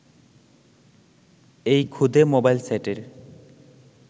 এই ক্ষুদে মোবাইল সেটের